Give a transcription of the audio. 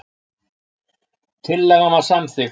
Tillagan var samþykkt.